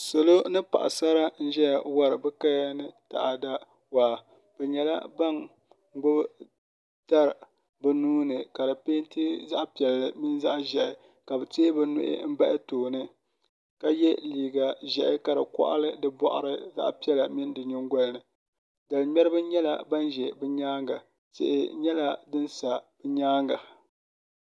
salo ni paɣisara n-zaya wari bɛ kali waa bɛ nyɛla ban gbubi dari bɛ nua ni ka di peenti zaɣ'piɛlli mini zaɣ'ʒehi ka bɛ teei bɛ nuhi bahi tooni ka ye liiga ʒehi ka di kɔɣili di za; h'piɛlla mini din nyingoyani dal'ŋ́mɛriba nyɛla ban za bɛ nyaaŋa tihi nyɛla din sa bɛ nyaaŋa